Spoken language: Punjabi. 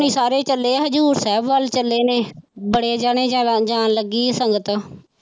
ਸਾਰੇ ਚੱਲੇ ਹਜ਼ੂਰ ਸਾਹਿਬ ਵੱਲ ਚੱਲੇ ਨੇ ਬੜੇ ਜਾਣੇ ਜਾ ਜਾਣ ਲੱਗੀ ਸੰਗਤ।